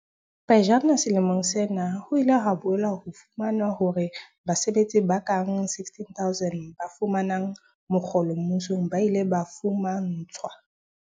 Pejana selemong sena, ho ile ha boela ho fumanwa hore basebetsi ba kabang 16 000 ba fumanang mokgolo mmusong ba ile ba fuma ntshwa